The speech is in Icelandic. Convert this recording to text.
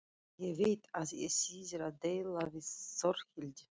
Ég veit að ekki þýðir að deila við Þórhildi.